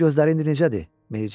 Onun gözləri indi necədir?